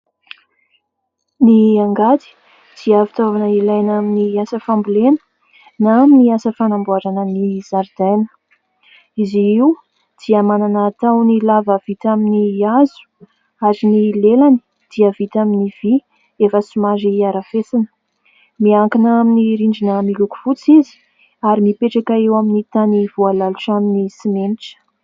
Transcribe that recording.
Ny angady dia fitaovana ilaina amin'ny asa fambolena na amin'ny asa fanamboarana ny zaridaina. Izy io dia manana tahony lava vita amin'ny hazo ary ny lelany dia vita amin'ny vy efa somary harafesina ; miankina amin'ny rindrina miloko fotsy izy ary mipetraka eo amin'ny tany voalalotra amin'ny simenitra.